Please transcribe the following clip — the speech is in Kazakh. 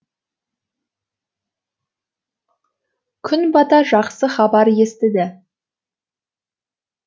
күн бата жақсы хабар естіді